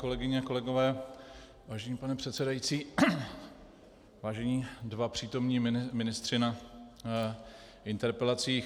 Kolegyně a kolegové, vážený pane předsedající, vážení dva přítomní ministři na interpelacích.